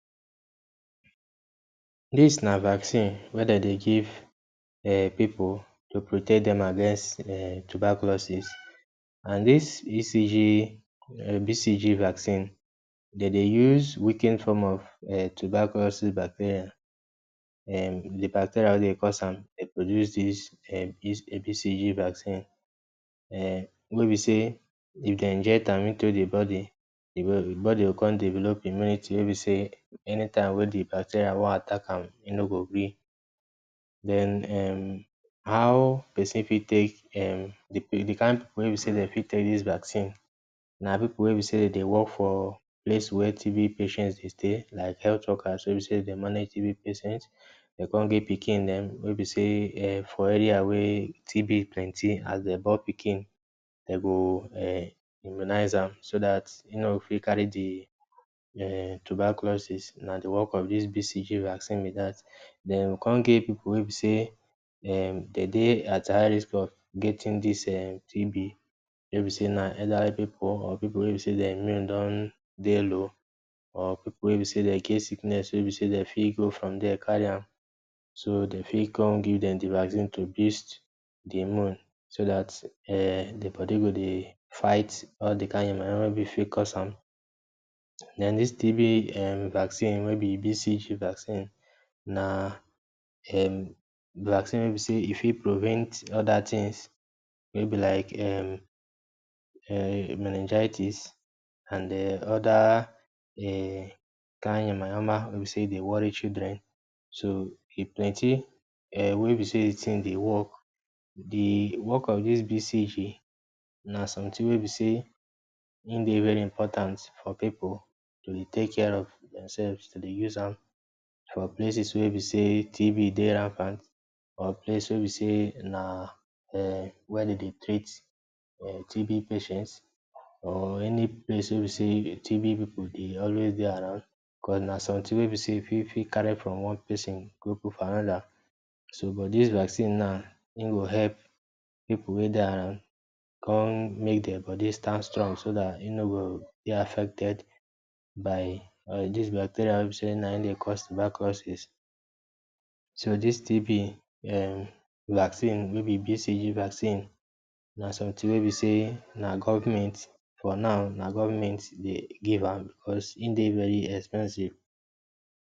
Dis na vaccine wey de dey give um pipu to protect dem against um tuberculosis. And dis BCG um BCG vaccine, de dey use weaken form of um tuberculosis bacteria, um de bacteria wey dey cause am dey produce dis um BCG vaccine um wey be sey if dem inject am into de body, the body go come develop immunity wey be sey anytime wey de bacteria wan attack am, e no go gree. Den, um how pesin fit take um the kind pipu wey be sey dem fit take dis vaccine? Na pipu wey be sey dem dey work for place wey TB patients dey stay, like health workers wey e be sey dey manage TB patients. Dem come give pikin-dem wey be sey um for area wey TB plenty, as dem born pikin, de go um immunize am so dat e no go fit carry di um tuberculosis. Na the work of dis BCG vaccine be that. Den, we come get pipu wey be sey um dem dey at high risk of getting dis um TB, wey be sey na elderly pipu or pipu wey be sey dia immune don dey low or pipu wey e be sey dem get sickness wey e be sey dem fit go from there carry am. So dem fit come give dem de vaccine to boost de immune so dat um de body go dey fight all de kind yama-yama wey be fit cause am. Den dis TB um vaccine we be BCG vaccine, na um vaccine wey e be sey e fit prevent other things wey be like um um meningitis and um other um kind yama-yama wey e be sey dey worry children. So e plenty um wey e be sey de thing dey work. De work of dis BCG na something wey be sey im dey very important for pipu to dey take care of themselves, to dey use am for places wey e be sey TB dey rampant or place wey be sey na um where de dey treat um TB patients or any place wey e be sey TB pipu dey always dey around, cos na something wey e be sey e fit fit carry from one pesin go put for another. So but dis vaccine now, im go help pipu wey dey around, come make dem body stand strong so dat e no go dey affected by um dis bacteria wey e be sey na im dey cause tuberculosis. So dis TB um vaccine wey be BCG vaccine, na something wey e be sey na government, for now, na government dey give am because im dey very expensive